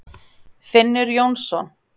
Finnur Jónsson.